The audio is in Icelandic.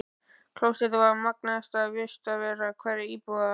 Klósettið er magnaðasta vistarvera hverrar íbúðar.